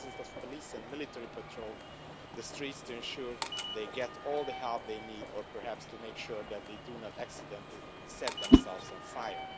Thousands of police and military patrol the streets to ensure they get all the help they need, or perhaps to make sure that they do not accidentally set themselves on fire.